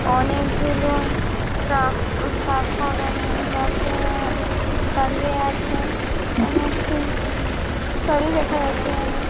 অনেকগুলোন track দাঁড় করানো দার করা দাঁড়িয়ে আছে আর একটি গাড়ি রাখা আছে ।